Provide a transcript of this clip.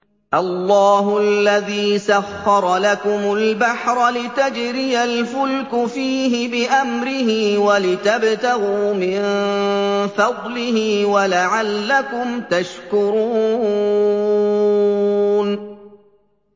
۞ اللَّهُ الَّذِي سَخَّرَ لَكُمُ الْبَحْرَ لِتَجْرِيَ الْفُلْكُ فِيهِ بِأَمْرِهِ وَلِتَبْتَغُوا مِن فَضْلِهِ وَلَعَلَّكُمْ تَشْكُرُونَ